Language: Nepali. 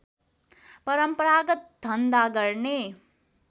परम्परागत धन्धा गर्ने